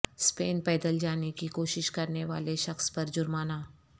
Spain پیدل جانے کی کوشش کرنے و الے شخص پر جرمانہ